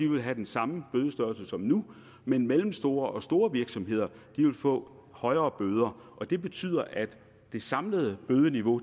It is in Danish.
vil have den samme bødestørrelse som nu men mellemstore og store virksomheder vil få højere bøder det betyder at det samlede bødeniveau